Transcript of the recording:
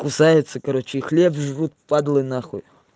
кусаются короче и хлеб жрут падлы нахуй